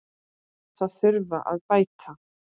Það þurfi að bæta.